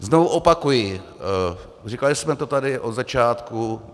Znovu opakuji, říkali jsme to tady od začátku.